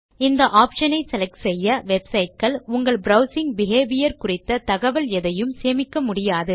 இந்த ஆப்ஷன் ஐ செலக்ட் செய்ய வெப்சைட் கள் உங்கள் ப்ரவ்சிங் பிஹேவியர் குறித்த தகவல் எதையும் சேமிக்க முடியாது